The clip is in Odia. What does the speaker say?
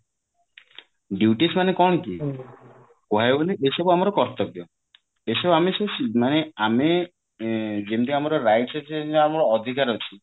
duties ମାନେ କଣ କି କହିବାକୁ ଗଲେ ଏସବୁ ଆମର କର୍ତବ୍ୟ ଏସବୁ ଆମେ ସବୁ ମାନେ ଆମେ ଏଁ ଯେମତି ଆମର rights ଅଛି ଅଧିକାର ଅଛି